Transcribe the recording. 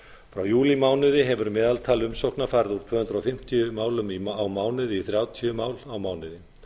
frá júlímánuði hefur meðaltal umsókna farið úr tvö hundruð fimmtíu málum á mánuði í þrjátíu mál á mánuði